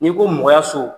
N'i ko mɔgɔya so